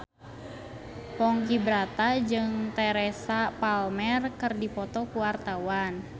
Ponky Brata jeung Teresa Palmer keur dipoto ku wartawan